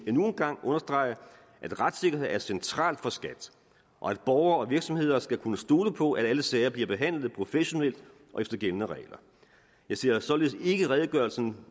endnu en gang understrege at retssikkerhed er centralt for skat og at borgere og virksomheder skal kunne stole på at alle sager bliver behandlet professionelt og efter gældende regler jeg ser således ikke redegørelsen